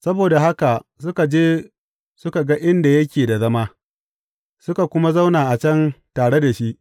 Saboda haka suka je suka ga inda yake da zama, suka kuma zauna a can tare da shi.